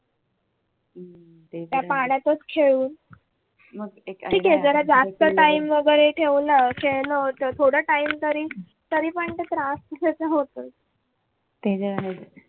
त्या पाण्यातच खेळून ठीके जरा जास्तच time वगैरे खेळलो तर होत थोडं time तरी तरी पण तो त्रास होतोच